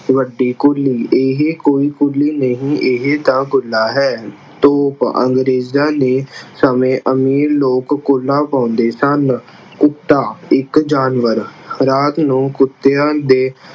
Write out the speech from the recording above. ਵੱਡੀ ਕੁੱਲੀ ਇਹ ਕੋਈ ਕੁੱਲੀ ਨਹੀਂ ਇਹ ਤਾਂ ਕੁੱਲਾ ਹੈ। ਤੋਪ ਅੰਗਰੇਜ਼ਾਂ ਦੇ ਸਮੇਂ ਅਮੀਰ ਲੋਕ ਕੁੱਲਾ ਪਾਉਂਦੇ ਸਨ। ਕੁੱਤਾ ਇੱਕ ਜਾਨਵਰ ਰਾਤ ਨੂੰ ਕੁੱਤਿਆਂ ਦੇ